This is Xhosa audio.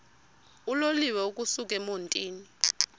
uloliwe ukusuk emontini